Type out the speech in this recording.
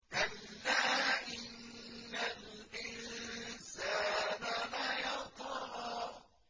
كَلَّا إِنَّ الْإِنسَانَ لَيَطْغَىٰ